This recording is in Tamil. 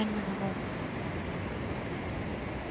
earn பண்ணணும்